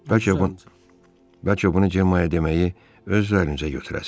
Bəlkə bunu bəlkə bunu Cemma deməyi öz üzərinizə götürərsiz?